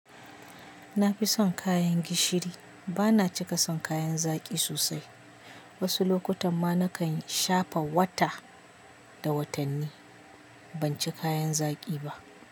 Na fi son kayan gishiri. Ba na cika son kayan zaƙi sosai. Wasu lokutan ma na kan shafa wata da watanni ban ci kayan zaƙi ba.